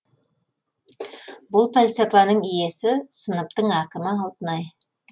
бұл пәлсапаның иесі сыныптың әкімі алтынай